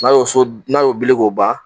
n'a y'o so d n'a y'o bili k'o ban